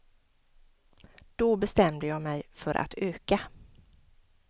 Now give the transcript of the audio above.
Då bestämde jag mej för att öka!